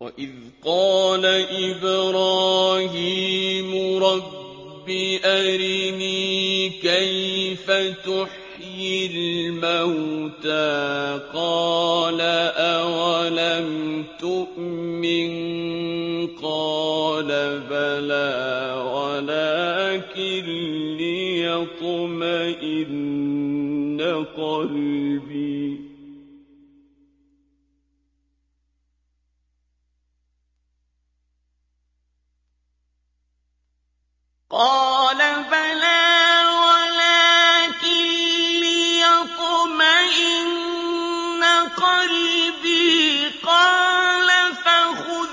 وَإِذْ قَالَ إِبْرَاهِيمُ رَبِّ أَرِنِي كَيْفَ تُحْيِي الْمَوْتَىٰ ۖ قَالَ أَوَلَمْ تُؤْمِن ۖ قَالَ بَلَىٰ وَلَٰكِن لِّيَطْمَئِنَّ قَلْبِي ۖ قَالَ فَخُذْ